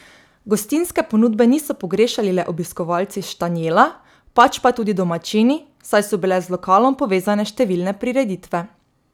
Gostinske ponudbe niso pogrešali le obiskovalci Štanjela, pač pa tudi domačini, saj so bile z lokalom povezane številne prireditve.